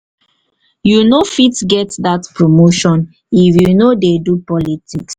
you no fit get dat promotion if you no dey do politics.